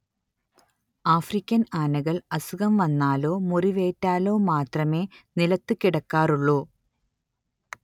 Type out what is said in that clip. African ആനകൾ അസുഖം വന്നാലോ മുറിവേറ്റാലോ മാത്രമേ നിലത്ത് കിടക്കാറുള്ളൂ